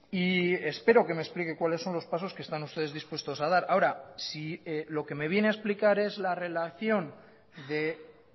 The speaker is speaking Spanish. y espero que me explique cuáles son los pasos que están ustedes dispuestos a dar ahora si lo que me viene a explicar es la relación de